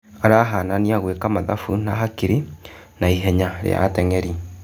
Arahanania gwĩ ka mathabu na hakiri na ihenya rĩ a ateng'eri.